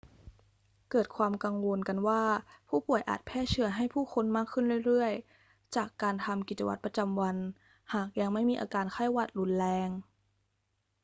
เกิดความกังวลกันว่าผู้ป่วยอาจแพร่เชื้อให้ผู้คนมากขึ้นเรื่อย ๆ จากการทำกิจวัตรประจำวันหากยังไม่มีอาการไข้หวัดรุนแรง